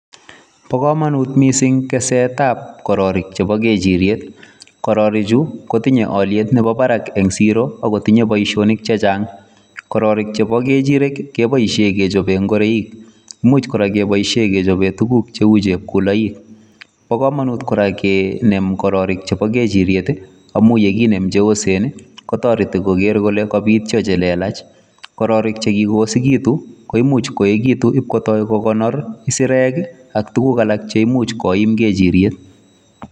Bo komonut mising' kesetab kororik chebo ng'echiryet. Kororichu kotinye olyet nemi barak en siro ago tinye boisionik chechang' kororik chebo kechirek ii keboishe kechoben ngoroik. Imuch kora keboisie kechoben tuguk cheu chepkuloik. Bo komonut kora kinem kororik chebo kechiryet amun ye kinem che yosen kotoreti koger kole kobityo che lelach kororik che kiyosegitu koimuch koegitun koto kogonor isirek ak tuguk alak che imuch koim kechiryet.